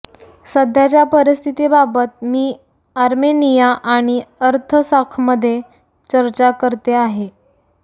सध्याच्या परिस्थितीबाबत मी आर्मेनिया आणि अर्तसाखमध्ये चर्चा करते आहे